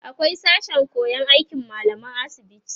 akwai sashen koyan aikin mallaman asibiti